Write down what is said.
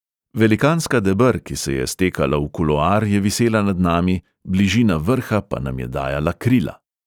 Velikanska deber, ki se je stekala v kuloar, je visela nad nami, bližina vrha pa nam je dajala krila.